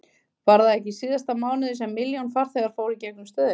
Var það ekki í síðasta mánuði sem milljón farþegar fóru í gegnum stöðina?